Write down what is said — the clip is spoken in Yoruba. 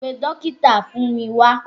Pe dókítà fún mi wá!